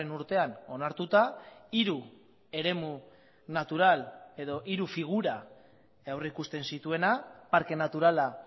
urtean onartuta hiru eremu natural edo hiru figura aurrikusten zituena parke naturala